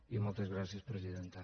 i moltes gràcies presidenta